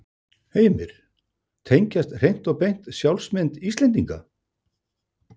Heimir: Tengjast hreint og beint sjálfsmynd Íslendinga?